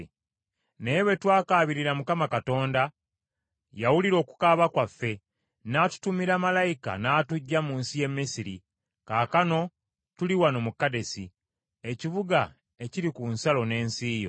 naye bwe twakaabirira Mukama Katonda, yawulira okukaaba kwaffe, n’atutumira malayika n’atuggya mu nsi y’e Misiri. Kaakano tuli wano mu Kadesi, ekibuga ekiri ku nsalo n’ensi yo.